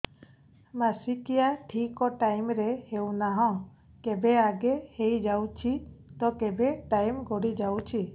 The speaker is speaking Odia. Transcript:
ମାସିକିଆ ଠିକ ଟାଇମ ରେ ହେଉନାହଁ କେବେ ଆଗେ ହେଇଯାଉଛି ତ କେବେ ଟାଇମ ଗଡି ଯାଉଛି